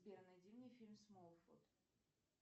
сбер найди мне фильм смолфут